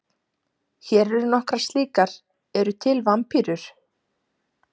Hér eru nokkrar slíkar: Eru til vampírur?